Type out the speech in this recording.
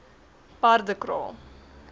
paardekraal